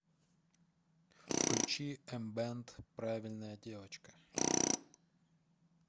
включи эмбэнд правильная девочка